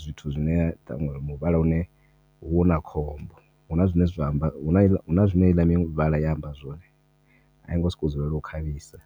zwithu zwine ṱhaṅwe muvhala une huvha na khombo huna zwine zwa amba huna zwine heiḽa miṅwe mivhala ya amba zwone ai ngo sokou dzulela u khavhisa.